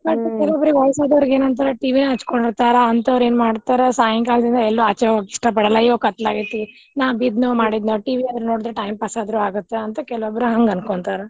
ಒಟ್ ವಯಸ್ಸ್ ಆದೋರ್ಗ್ ಎನಂತಾರ TV ಯನ್ ಹಚ್ಚಕೊಂಡ್ ಇರ್ತಾರ ಅಂತೋರ್ ಏನ್ ಮಾಡ್ತಾರ ಸಾಯಂಕಾಲ್ದಿಂದ ಎಲ್ಲೂ ಆಚೆ ಹೋಗ್ಲಿಕ್ ಇಷ್ಟ ಪಡಲ್ಲ. ಇವಾಗ್ ಕತ್ಲ ಆಗೆತಿ ನಾ ಬಿದ್ನೋ ಮಾಡಿದ್ನೋ TV ಆದ್ರೂ ನೋಡಿದ್ರ time pass ಆದ್ರೂ ಆಗುತ್ ಅಂತ್ ಕೆಲವಬ್ರು ಹಂಗ್ ಅಂಕೋಂತಾರ.